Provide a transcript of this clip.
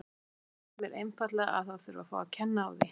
Stundum finnst mér einfaldlega að það þurfi að fá að kenna á því.